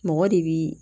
Mɔgɔ de bi